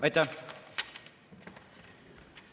Aitäh!